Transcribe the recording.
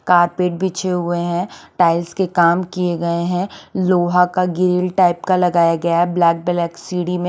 carpet बीचे हुए हे टाइल्स के काम किये गये हे लोहा का गिल टाइप का लगाया गया हे ब्लेक कलर सीडी में--